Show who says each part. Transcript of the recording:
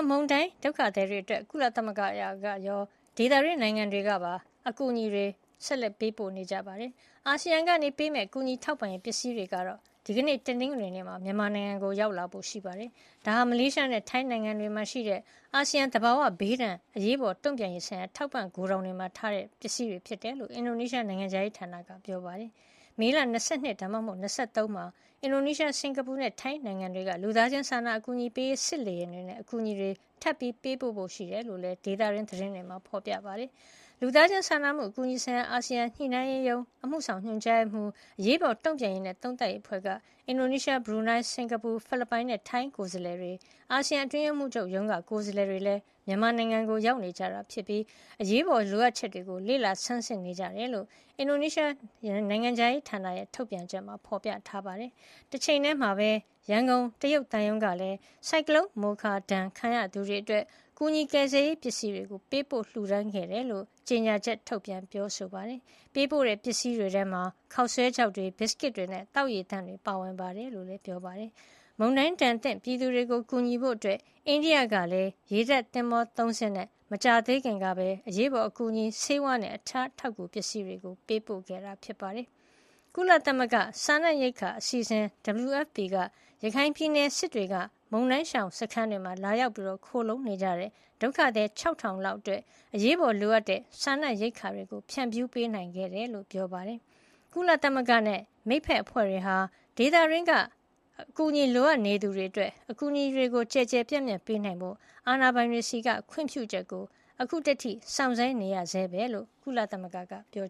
Speaker 1: မုန်တိုင်း ဒုက္ခသည်တွေအတွက် ကုလသမဂ္ဂ ကရော ဒေသတွင်းနိုင်ငံတွေကပါ ကူညီထောက်ပံ့မှုတွေ ပေးနေကြပါတယ်။ အာဆီယံကပေးမယ့် ကူညီထောက်ပံ့ရေးပစ္စည်းတွေကတော့ ဒီကနေ့ တနင်္ဂနွေနေ့မှာ မြန်မာနိုင်ငံကို ရောက်လာဖို့ ရှိပါတယ်။ ဒါဟာ မလေးရှားနဲ့ ထိုင်းနိုင်ငံတွေမှာရှိတဲ့ အာဆီယံရဲ့ သဘာဝဘေးဒဏ် အရေးပေါ် တုံ့ပြန်ရေးဆိုင်ရာ ထောက်ပို့ ဂိုဒေါင်တွေမှာထားတဲ့ ထောက်ပံ့ရေးပစ္စည်းတွေ ဖြစ်တယ်လို့ အင်ဒိုနီးရှားနိုင်ငံခြားရေးဌာနက ပြောပါတယ်။ မေလ ၂၂ ဒါမှမဟုတ် ၂၃ ရက်နေ့ကျရင်လည်း အင်ဒိုနီးရှား၊ စင်္ကာပူနဲ့ ထိုင်းနိုင်ငံတွေက လူသားချင်း စာနာအကူအညီပေးရေး စစ်လေယာဉ်နဲ့ အကူအညီတွေ ထပ်ပြီး ပို့ပေးဖို့ရှိကြောင်းလည်း ဒေသတွင်းသတင်းတွေမှာ ဖေါ်ပြနေပါတယ်။ လူသားချင်းစာနာမှု အကူအညီဆိုင်ရာ အာဆီယံညှိနှိုင်းရေးရုံး အမှုဆောင်ညွန်ကြားရေးမှူး၊ အရေးပေါ် တုံ့ပြန်ရေးနဲ့ သုံးသပ်ရေးအဖွဲ့က အင်ဒိုနီးရှား၊ ဘရူနိုင်း၊ စင်္ကာပူ၊ ဖိလစ်ပိုင်နဲ့ ထိုင်းနိုင်ငံ ကိုယ်စားလှယ်တွေ၊ အာဆီယံ အတွင်းရေးမှူးချုပ်ရုံးက ကိုယ်စားလှယ်တွေလည်း မြန်မာနိုင်ငံမှာ ရောက်နေကြပြီး အရေးပေါ် လိုအပ်ချက်တွေကို လေ့လာဆန်းစစ် နေကြတယ်လို့ အင်ဒိုနီးရှားနိုင်ငံခြားရေးဌာနရဲ့ ထုတ်ပြန်ချက်မှာ ဖော်ပြထားပါတယ်။ တချိန်တည်းမှာပဲ ရန်ကုန် တရုတ်သံရုံးကလည်း ဆိုင်ကလုံး မိုခါ ဒဏ်ခံရသူတွေအတွက် ကူညီကယ်ဆယ်ရေး ပစ္စည်းတွေ ပေးပို့လှူဒါန်းခဲ့ကြောင်း ကြေညာချက် ထုတ်ပြန်ပြောဆိုပါတယ်။ ပေးပို့တဲ့ ပစ္စည်းတွေထဲမှာ ခေါက်ဆွဲခြောက်တွေ၊ ဘီစကစ်တွေနဲ့ သောက်ရေသန့်တွေ ပါဝင်ကြောင်း ပြောပါတယ်။ မုန်တိုင်းဒဏ်သင့် ပြည်သူတွေကို ကူညီဖို့ အိန္ဒိယက ရေတပ်သင်္ဘော ၃ စင်း နဲ့ အရေးပေါ်ကူညီရေး ဆေးဝါးနဲ့ တခြား အထောက်အကူပစ္စည်းတွေ ပေးပို့ခဲ့တာပါ။ ကုလသမဂ္ဂ စားနပ်ရိက္ခာအစီအစဉ် WFP က ရခိုင်ပြည်နယ် စစ်တွေက မုန်တိုင်းရှောင်စခန်းတွေမှာ လာရောက် ခိုလှုံနေကြတဲ့ ဒုက္ခသည် ၆၀၀၀ လောက်အတွက် အရေးပေါ်လိုအပ်တဲ့ စားနပ်ရိက္ခာတွေ ဖြန့်ဖြူးပေးခဲ့တယ်လို့ ပြောပါတယ်။ ကုလသမဂ္ဂနဲ့ မိတ်ဘက်အဖွဲ့တွေဟာ ဒေသတွင်းလိုအပ်သူတွေအတွက် အကူအညီတွေ ကျယ်ကျယ်ပြန့်ပြန့် ပေးနိုင်ဖို့ အာဏာပိုင်တွေဆီက ခွင့်ပြုချက်ကို စောင်းဆိုင်းနေဆဲပဲ လို့လည်း ကုလသမဂ္ဂက ပြော